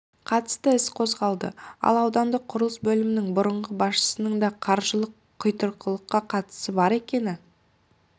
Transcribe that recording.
қатысты іс қозғалды ал аудандық құрылыс бөлімінің бұрынғы басшысының да қаржылық құйтырқылыққа қатысы бар екені